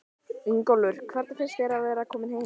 Ingólfur: Hvernig finnst þér að vera kominn heim?